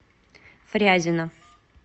фрязино